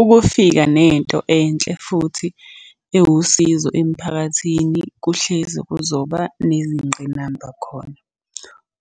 Ukufika nento enhle futhi ewusizo emphakathini kuhlezi kuzoba nezingqinamba khona.